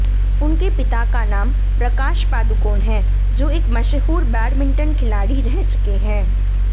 उनके पिता का नाम प्रकाश पादुकोण है जो एक मशहूर बैडमिंटन खिलाड़ी रह चुके है